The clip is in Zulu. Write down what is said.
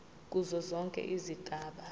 kuzo zonke izigaba